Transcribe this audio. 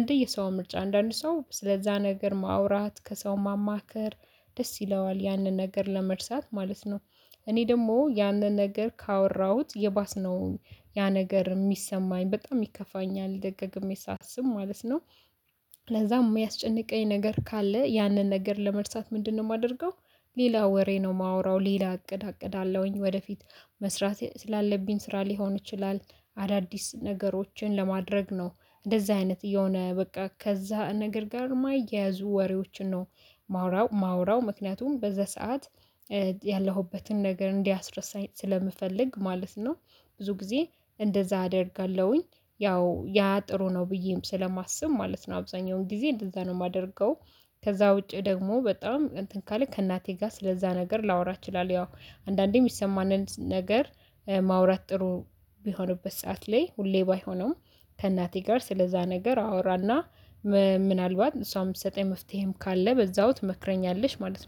እንደየሰው ምርጫ አንዳንድ ሰው ስለዛ ነገር ማውራት ከሰው ማማከር ደስ ይለዋል ያንን ነገር ለመርሳት ማለት ነው። እኔ ደግሞ ያንን ነገር ካወራሁት የባስ ነው። ያ ነገር የሚሰማኝ በጣም ይከፋኛል ደጋግሜ ሳስብ ማለት ነው። ለዛም የሚያስጨንቀኝ ነገር ካለ ያንን ነገር ለመርሳት ምንድነው የማደርገው? ሌላ ወሬ ነው የማወራው ሌላ እቅድ አቅዳለውኝ ወደፊት መስራት ስላለብኝ ስራ ሊሆን ይችላል። አዳዲስ ነገሮችን ለማድረግ ነው። እንደዚህ አይነት እየሆነ በቃ ከዛ ነገር ጋር የማይያዙ ወሬዎችን ነው ማወራው ማወራው ምክንያቱም በዛ ሰዓት ያለሁበትን ነገር እንዲያስረሳኝ ስለምፈልግ ማለት ነው። ብዙ ጊዜ እንደዛ አደርጋለሁኝ ያው ያ ጥሩ ነው ብዬም ስለማስብ ማለት ነው አብዛኛውን ጊዜ እንደዛ ነው የማደርገው። ከዛ ውጪ ደግሞ በጣም እንትን ካለ ከእናቴ ጋር ስለዛ ነገር ላወራ ይችላል። ያው አንዳንዴ የሚሰማንን ነገር ማውራት ጥሩ እሚሆንበት ሰዓት ላይ ሁሌ ባይሆንም ከእናቴ ጋር ስለዛ ነገር አወራና ምናልባት እሷም ትሰጠኝ መፍትሄም ካለ በዛው ትመክረኛለሽ። ማለት ነው